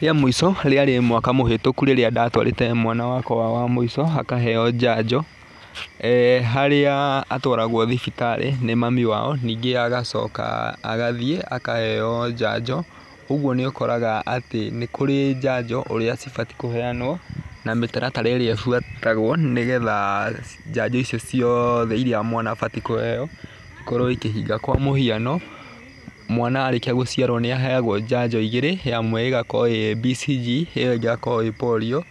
Rĩa mũico rĩarĩ mwaka mũhĩtũku rĩrĩa ndatwarĩte mwana wakwa wa mũico akaheo njanjo harĩa atwaragwo thibitarĩ nĩ mami wao. Ningĩ agacoka agathiĩ akaheo njanjo ũguo nĩ ũkoraga atĩ nĩ kũrĩ njanjo ũrĩ cibatiĩ kũheanwo na mĩtaratara ĩrĩa ĩbuatagwo nĩ getha njanjo icio ciothe iria mwana abatiĩ kũheo ikorwo ikĩhinga. Kwa mũhiano mwana arĩkia gũciarwo nĩ aheagwo njanjo igĩrĩ ĩmwe ĩgakorwo ĩ BCG ĩyo ĩngĩ ĩgakorwo ĩ POLIO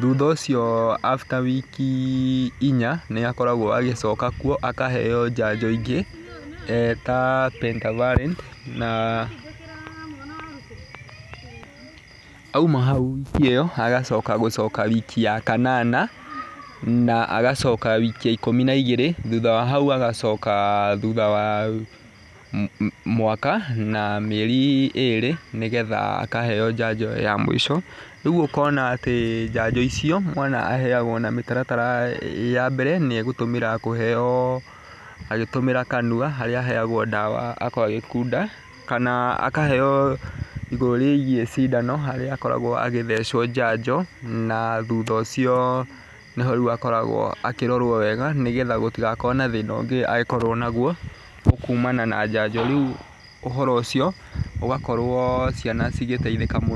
thutha ũcio after wiki inya nĩ akoragwo agĩcoka kuo akaheo njanjo ingĩ ta Pentafari na. Auma hau wiki ĩyo agacoka gũcoka wiki ya kanana na agacoka wiki ya ikũmi na igĩrĩ. Thutha wa hau agacoka thutha wa mwaka na mĩeri ĩrĩ nĩ gretha akaheo njanjo ya mũico. Rĩu ũkonaatĩ njanjo icio mwana aheagwo na mĩtaratara ya mbere nĩ egũtũmĩra kũheo agĩtũmĩra kanua, harĩa aheagwo ndawa akoragwo agĩkunda kana akaheo igũrũ rĩgiĩ cindano harĩa akoragwo agĩthecwo njanjo. Na thutha ũcio nĩho rĩu akoragwo akirorwo wega nĩ getha gũtagĩkorwo na thĩna ũngĩ angĩkorwo naguo kumana na njanjo, rĩu ũhoro ũcio ũgakorwo ciana cigiteithĩka mũno.